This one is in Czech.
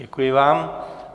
Děkuji vám.